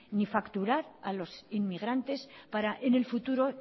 ni facturar a los inmigrantes para en el futuro